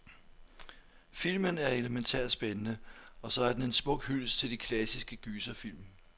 Filmen er elemæntært spændende, og så er den en smuk hyldest til de klassiske gyserfilm.